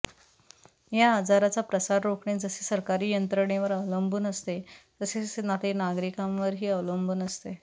या आजाराचा प्रसार रोखणे जसे सरकारी यंत्रणेवर अवलंबून असते तसेच ते नागरिकांवरही अवलंबून असते